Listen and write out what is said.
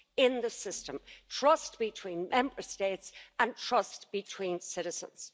in the system, trust between Member States and trust between citizens.